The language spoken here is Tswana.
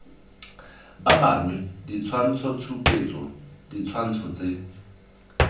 ba bangwe ditshwantshotshupetso ditshwantsho tse